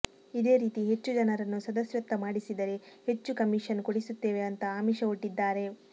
ಇದೇ ರೀತಿ ಹೆಚ್ಚು ಜನರನ್ನು ಸದಸ್ಯತ್ವ ಮಾಡಿಸಿದರೆ ಹೆಚ್ಚು ಕಮೀಷನ್ ಕೊಡಿಸುತ್ತೇವೆ ಅಂತ ಆಮಿಷ ಒಡ್ಡಿದ್ದಾರೆ